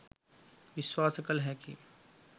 විශ්වාස කළ හැකිය.